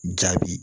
Jaabi